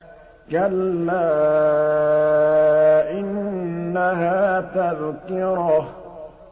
كَلَّا إِنَّهَا تَذْكِرَةٌ